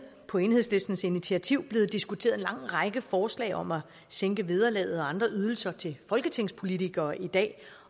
på enhedslistens initiativ blevet diskuteret en lang række forslag om at sænke vederlaget og andre ydelser til folketingspolitikere i dag